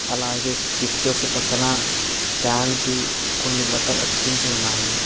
అలాగే పిక్చర్స్ పక్కన స్టాండ్ కి కొన్ని బట్టలు అతికించి ఉన్నాయి.